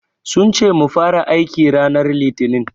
Sun ce mu fara aiki ranar Litinin.